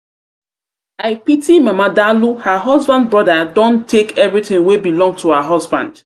pity mama dalụ her husband brother don take everything wey belong to her husband.